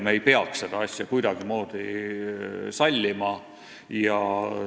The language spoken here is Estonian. Me ei peaks seda asja kuidagimoodi sallima.